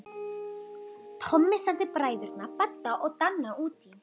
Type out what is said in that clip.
Tommi sendi bræðurna Badda og Danna útí